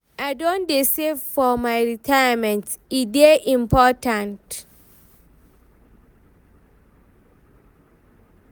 I don dey save for my retirement, e dey important.